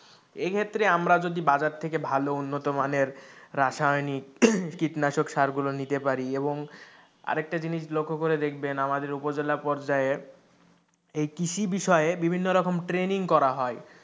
এই ক্ষেত্রে আমরা যদি বাজার থেকে ভালো উন্নতমানের রাসায়নিক কীটনাশক সার গুলো নিতে পারি এবং আরেকটা জিনিস লক্ষ্য করে দেখবেন আমাদের উপজেলা পর্যায়ে এই কৃষি বিষয়ে বিভিন্ন রকম ট্রেনিং করা হয়,